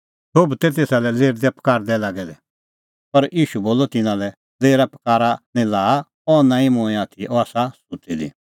सोभ तै तेसा लै लेरदैपकारदै लागै दै पर ईशू बोलअ तिन्नां लै लेरापकारा निं लाआ अह निं मूंईं आथी अह आसा सुत्ती दी